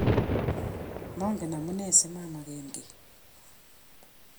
mangen amune asimameken kiy